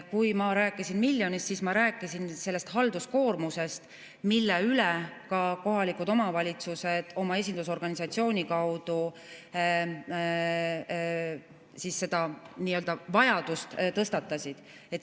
Kui ma rääkisin miljonist, siis ma rääkisin sellest halduskoormusest, ka kohalikud omavalitsused oma esindusorganisatsiooni kaudu selle nii-öelda vajaduse tõstatasid.